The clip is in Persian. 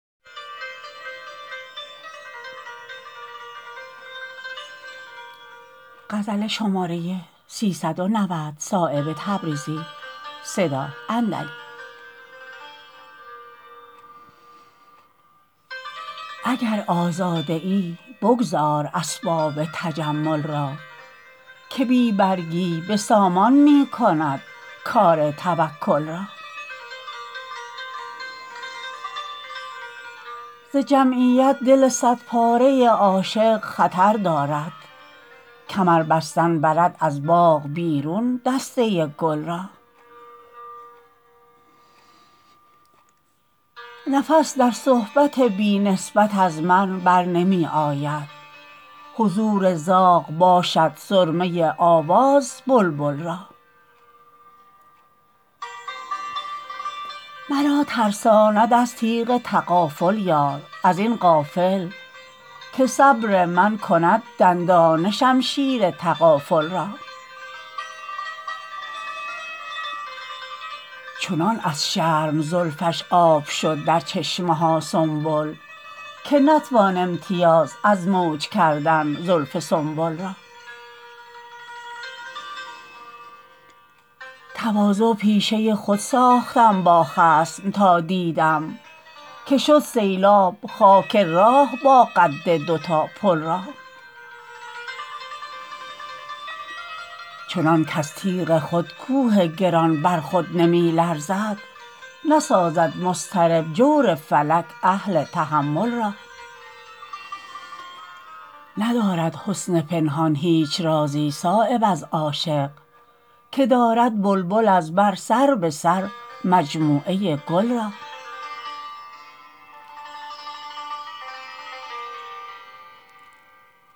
اگر آزاده ای بگذار اسباب تجمل را که بی برگی به سامان می کند کار توکل را ز جمعیت دل صد پاره عاشق خطر دارد کمر بستن برد از باغ بیرون دسته گل را نفس در صحبت بی نسبت از من برنمی آید حضور زاغ باشد سرمه آواز بلبل را مرا ترساند از تیغ تغافل یار ازین غافل که صبر من کند دندانه شمشیر تغافل را چنان از شرم زلفش آب شد در چشمه ها سنبل که نتوان امتیاز از موج کردن زلف سنبل را تواضع پیشه خود ساختم با خصم تا دیدم که شد سیلاب خاک راه با قد دو تا پل را چنان کز تیغ خود کوه گران بر خود نمی لرزد نسازد مضطرب جور فلک اهل تحمل را ندارد حسن پنهان هیچ رازی صایب از عاشق که دارد بلبل از بر سر به سر مجموعه گل را